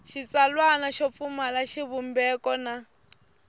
xitsalwana xo pfumala xivumbeko na